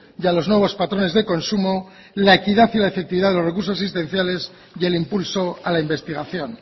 y a los nuevos patrones de consumo la equidad y la efectividad de los recursos existenciales y el impulso a la investigación